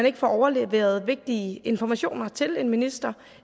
ikke overleveres vigtige informationer til en minister